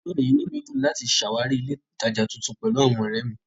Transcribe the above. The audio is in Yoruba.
Lónìí, inú mi dùn láti ṣàwárí ilé-ìtajà tuntun pẹ̀lú àwọn ọ̀rẹ́ mi.